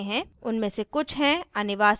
उनमे से कुछ हैं